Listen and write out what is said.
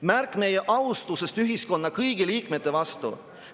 Märk meie austusest ühiskonna kõigi liikmete vastu.